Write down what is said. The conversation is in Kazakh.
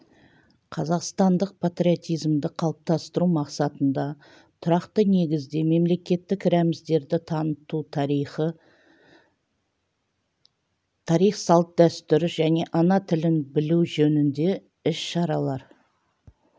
қазақстандық патриотизмді қалыптастыру мақсатында тұрақты негізде мемлекеттік рәміздерді таныту тарих салт-дәстүр және ана тілін білу жөнінде іс-шаралар